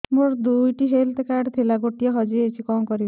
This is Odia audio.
ମୋର ଦୁଇଟି ହେଲ୍ଥ କାର୍ଡ ଥିଲା ଗୋଟିଏ ହଜି ଯାଇଛି କଣ କରିବି